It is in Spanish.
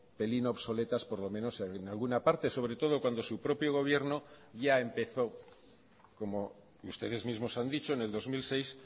pelín obsoletas por lo menos en alguna parte sobre todo cuando su propio gobierno ya empezó como ustedes mismos han dicho en el dos mil seis